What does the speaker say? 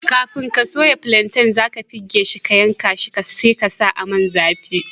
Kafin ka soya plantain, za ka pegge shi, ka yanka shi, sai ka sa a Man zafi.